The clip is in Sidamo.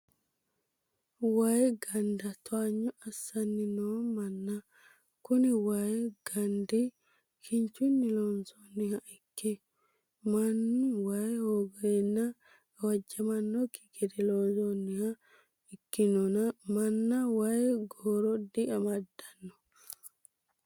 Wayi ganda towaanyo assanni noo manna, kuni wayi gandi kinchunni loonsonniha ikke manu wayi hoogenna gawajjamanokki gede loonsonniho koninino mana wayi gooro di amadano